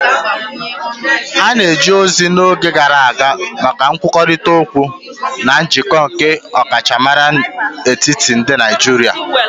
A na-eji ozi n'oge gara aga maka nkwurịta okwu na njikọ ndi ọkachamara n'etiti ndị Naijiria.